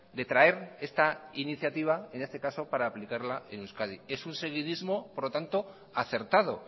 de traer esta iniciativa en este caso para aplicarla en euskadi es un seguidismo por lo tanto acertado